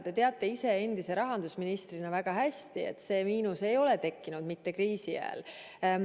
Te teate ise endise rahandusministrina väga hästi, et see miinus ei ole tekkinud kriisi ajal.